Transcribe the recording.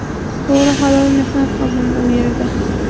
To‘g‘ri, halol mehnat qildim u yerda.